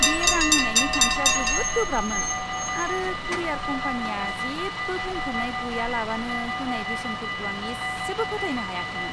बे रां होनायनि खान्थिया जोबोद गोब्राबमोन, आरो कुरियार कम्पानिया जेबो बुंफोरनाय गैयालाबानो होनाय बेसेनफोरखौ आं इसेबो फोथायनो हायाखैमोन!